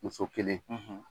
Muso kelen.